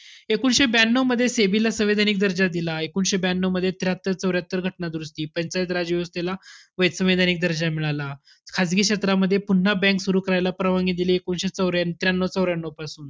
एकोणवीसशे ब्यानऊ मध्ये SEBI ला सांविधानिक दर्जा दिला. एकोणवीसशे ब्यानऊमध्ये त्र्याहत्तर चौर्यात्तर घटना दुरुस्ती, पंचायत राजव्यवस्थेला सांविधानिक दर्जा मिळाला. खासगी क्षेत्रामध्ये पुन्हा bank सुरु करायला परवनगी दिली, एकोणवीसशे चौ~ त्र्यानऊ चौऱ्यानऊ पासून.